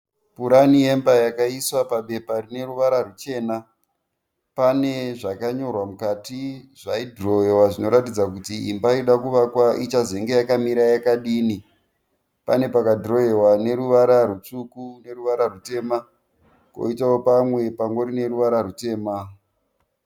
Purani yemba yakaiswa pabepa rine ruvara ruchena. Pane zvakanyorwa mukati zvaidhirowewa zvinoratidza kuti imba irikuda kuvakwa ichazenge yakamira yakadini. Pane pakadhirowewa neruvara rutsvuku neruvara rutema . Koitawo pamwe pane ruvara rutema.